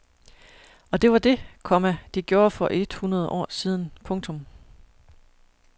Og det var det, komma de gjorde for et hundrede år siden. punktum